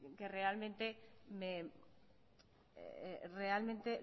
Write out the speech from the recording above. realmente